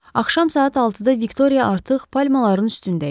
Axşam saat 6-da Viktoria artıq palmaların üstündə idi.